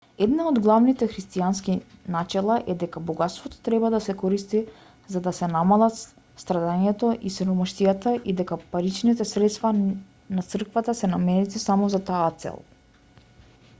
една од главните христијански начела е дека богатството треба да се користи за да се намалат страдањето и сиромаштијата и дека паричните средства на црквата се наменети само за таа цел